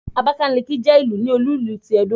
Abákálíkí jẹ́ ìlú ní olú ìlú ti Ẹdó